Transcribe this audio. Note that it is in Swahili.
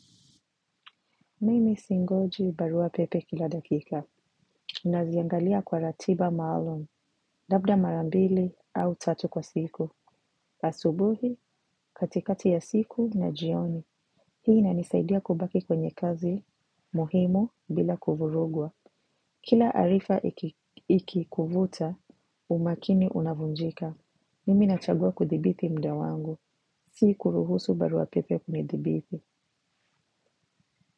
Mimi singoji barua pepe kila dakika, naziangalia kwa ratiba maalum, labda mara mbili au tatu kwa siku, asubuhi, katikati ya siku na jioni, hii inanisaidia kubaki kwenye kazi muhimu bila kuvurugwa. Kila arifa ikikuvuta, umakini unavunjika. Mimi nachagua kudhibiti muda wangu, siku kuruhusu barua pepe kunidhibiti.